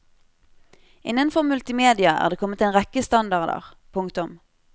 Innenfor multimedia er det kommet en rekke standarder. punktum